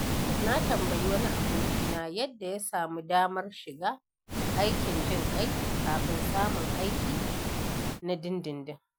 Na tambayi wani abokina yadda ya samu damar shiga aikin jin ƙai kafin samun aiki na dindindin.